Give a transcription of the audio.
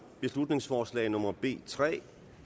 beslutningsforslag nummer b tre